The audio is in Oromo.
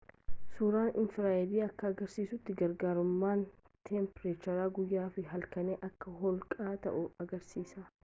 suuraan infiraareedii akka agarsiisutti garaagarummaan teempireechara guyyaa fi halkanii akka holqaa ta'uu agarsiisa